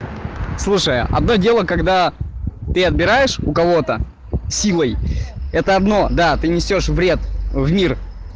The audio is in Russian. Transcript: слушай одно дело когда ты отбираешь у кого-то силой это одно да ты несёшь вред в мир